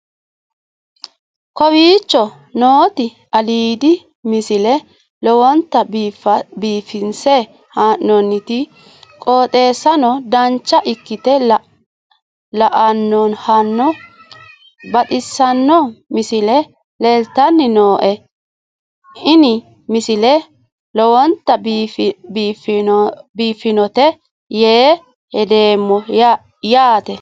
kowicho nooti aliidi misile lowonta biifinse haa'noonniti qooxeessano dancha ikkite la'annohano baxissanno misile leeltanni nooe ini misile lowonta biifffinnote yee hedeemmo yaate